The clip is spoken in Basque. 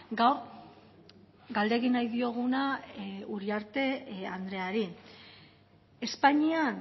gaur galde egin nahi dioguna uriarte andreari espainian